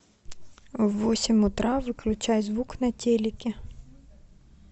в восемь утра выключай звук на телике